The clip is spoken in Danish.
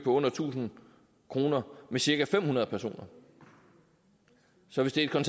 under tusind kr med cirka fem hundrede personer så hvis det er